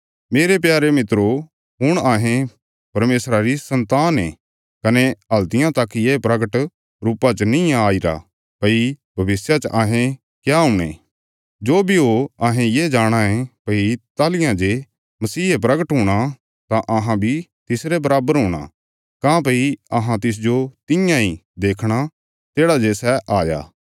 मेरे प्यारे मित्रो हुण अहें परमेशरा री सन्तान ये कने हल्तियां तक ये प्रगट रुपा च नीं आईरा भई भविष्य च अहें क्या हुणे जो बी हो अहें ये जाणाँ ये भई ताहली जे मसीहे प्रगट हूणा तां अहां बी तिसरे बराबर हूणा काँह्भई अहां तिसजो तियां इ देखणा तेढ़ा जे सै हाया